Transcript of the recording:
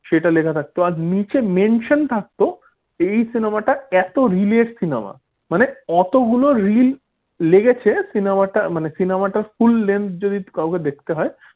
সেটা লেখা থাকতো আর নিচে mention থাকতো এই cinema টা এত রিলের cinema মানে কতগুলো রিল লেগেছে cinema টা মানে cinema full length যদি কাউকে দেখতে হয়।